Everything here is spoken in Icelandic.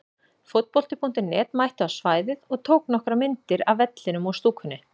Fótbolti.net mætti á svæðið og tók nokkrar myndir af vellinum og stúkunni.